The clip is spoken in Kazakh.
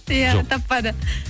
иә таппады